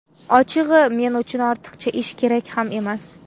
Ochig‘i, men uchun ortiqcha ish, kerak ham emas.